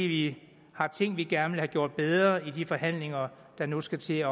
vi har ting vi gerne vil have gjort bedre i de forhandlinger der nu skal til at